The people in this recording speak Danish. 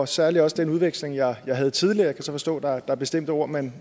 særlig også den udveksling jeg havde tidligere jeg kan så forstå at der er bestemte ord man